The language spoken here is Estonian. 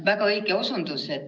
Väga õige osundus.